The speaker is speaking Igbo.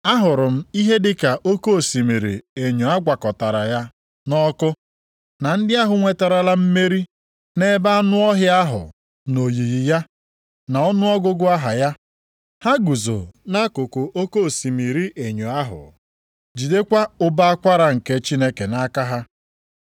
Ahụrụ m ihe dịka oke osimiri enyo a gwakọtara ya na ọkụ, na ndị ahụ nweterala mmeri nʼebe anụ ọhịa ahụ na oyiyi ya, na ọnụọgụgụ aha ya. Ha guzo nʼakụkụ oke osimiri enyo ahụ, jidekwa ụbọ akwara nke Chineke nʼaka ha.